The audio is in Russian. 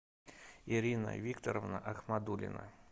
ирина викторовна ахмадуллина